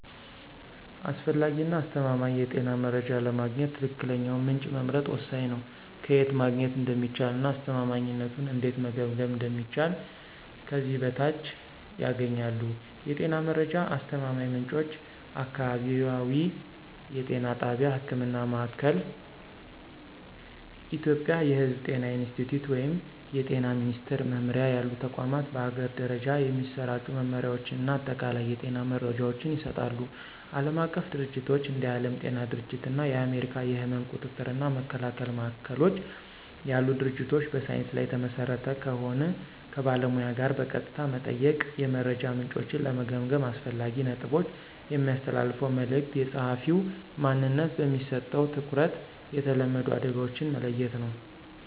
አስፈላጊ እና አስተማማኝ የጤና መረጃ ለማግኘት ትክክለኛውን ምንጭ መምረጥ ወሳኝ ነው። ከየት ማግኘት እንደሚቻል እና አስተማማኝነቱን እንዴት መገምገም እንደሚችሉ ከዚህ በታች ያገኛሉ። የጤና መረጃ አስተማማኝ ምንጮች · አካባቢያዊ የጤና ጣቢያ (ህክምና ማእከል። ኢትዮጵያ የሕዝብ ጤና ኢንስቲትዩት ወይም የጤና ሚኒስትር መምሪያ ያሉ ተቋማት በአገር ደረጃ የሚሰራጩ መመሪያዎችን እና አጠቃላይ የጤና መረጃዎችን ይሰጣሉ። ዓለም አቀፍ ድርጅቶች እንደ የዓለም ጤና ድርጅት እና የአሜሪካ የሕመም ቁጥጥር እና መከላከያ ማዕከሎች ያሉ ድርጅቶች በሳይንስ ላይ የተመሰረተ ከሆን። ከባለሙያ ጋር በቀጥታ መጠየቅ። የመረጃ ምንጮችን ለመገምገም አስፈላጊ ነጥቦች። የሚያስተላልፈው መልዕክት፣ የጸሐፊው ማንነት፣ በሚሰጠው ትኩረት፣ የተለመዱ አደጋዎችን መለየት ነው።